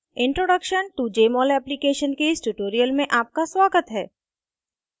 introduction to jmol application के इस tutorial में आपका स्वागत है